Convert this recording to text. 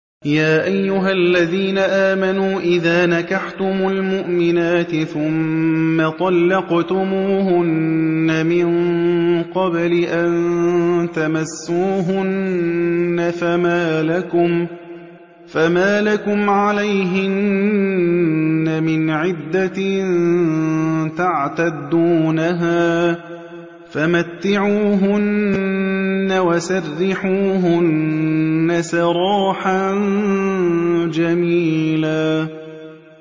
يَا أَيُّهَا الَّذِينَ آمَنُوا إِذَا نَكَحْتُمُ الْمُؤْمِنَاتِ ثُمَّ طَلَّقْتُمُوهُنَّ مِن قَبْلِ أَن تَمَسُّوهُنَّ فَمَا لَكُمْ عَلَيْهِنَّ مِنْ عِدَّةٍ تَعْتَدُّونَهَا ۖ فَمَتِّعُوهُنَّ وَسَرِّحُوهُنَّ سَرَاحًا جَمِيلًا